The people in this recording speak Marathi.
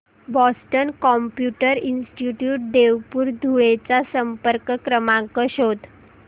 Boston Computer Institute Devpur Dhule चा संपर्क क्रमांक शोध